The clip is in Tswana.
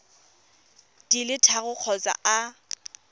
di le tharo kgotsa a